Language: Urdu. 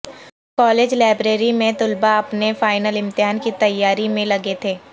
کالج لائبریری میں طلبہ اپنے فائنل امتحان کی تیاری میں لگے تھے